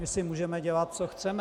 My si můžeme dělat, co chceme.